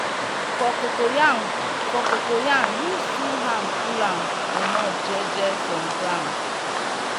for cocoyam for cocoyam use two hand pull am comot je je from ground.